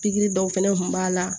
Pikiri dɔw fɛnɛ kun b'a la